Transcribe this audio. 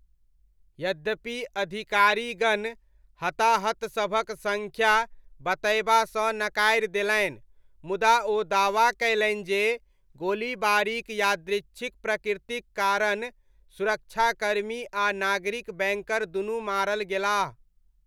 यद्यपि अधिकारीगण हताहतसभक सङ्ख्या बतयबासँ नकारि देलनि मुदा ओ दावा कयलनि जे गोलीबारीक यादृच्छिक प्रकृतिक कारण, सुरक्षाकर्मी आ नागरिक बैङ्कर दुनू मारल गेलाह।